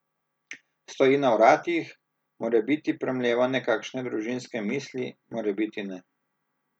Stoji na vratih, morebiti premleva nekakšne družinske misli, morebiti ne.